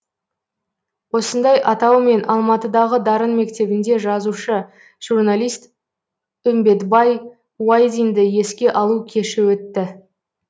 осындай атаумен алматыдағы дарын мектебінде жазушы журналист үмбетбай уайдинді еске алу кеші өтті